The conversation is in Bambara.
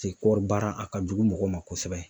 Se kɔri baara a ka jugu mɔgɔw ma kosɛbɛ